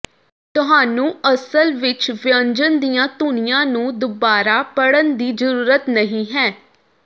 ਤੁਹਾਨੂੰ ਅਸਲ ਵਿਚ ਵਿਅੰਜਨ ਦੀਆਂ ਧੁਨੀਆਂ ਨੂੰ ਦੁਬਾਰਾ ਪੜ੍ਹਨ ਦੀ ਜ਼ਰੂਰਤ ਨਹੀਂ ਹੈ